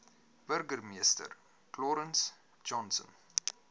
burgemeester clarence johnson